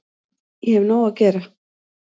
Ég hef nóg að gera